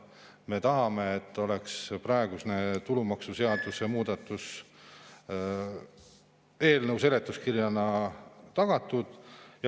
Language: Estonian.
Me tahame, et praegune tulumaksuseaduse muudatus oleks eelnõu seletuskirjana tagatud.